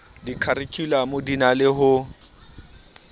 dikharikhulamo di na le ho